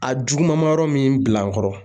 A jugumanma yɔrɔ min bila n kɔrɔ